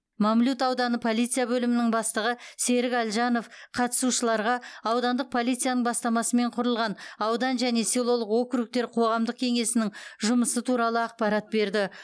мамлют ауданы полиция бөлімінің бастығы серік әлжанов қатысушыларға аудандық полицияның бастамасымен құрылған аудан және селолық округтер қоғамдық кеңесінің жұмысы туралы ақпарат берді